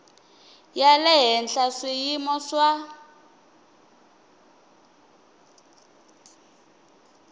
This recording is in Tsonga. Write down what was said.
ya le henhla swiyimo swa